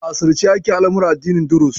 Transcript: A sirrance ake al'amuran addinin Duruz.